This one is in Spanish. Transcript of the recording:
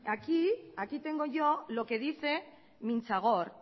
aquí aquí tengo yo lo que dice mintzan gor